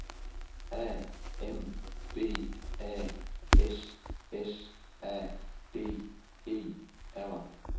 A M B A S S A D E R